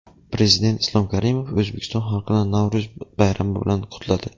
Prezident Islom Karimov O‘zbekiston xalqini Navro‘z bayrami bilan qutladi.